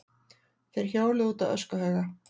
Þeir hjóluðu út á öskuhauga.